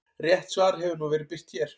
Rétt svar hefur nú verið birt hér.